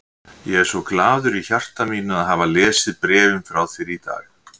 Ég er svo glaður í hjarta mínu að hafa lesið bréfin frá þér í dag.